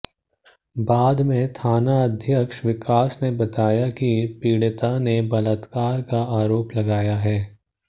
बाद में थानाध्यक्ष विकास ने बताया कि पीड़िता ने बलात्कार का आरोप लगाया है